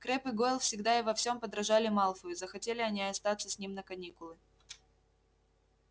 крэбб и гойл всегда и во всём подражали малфою захотели они и остаться с ним на каникулы